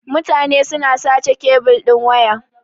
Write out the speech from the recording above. Mutane suna sace kebil din waya.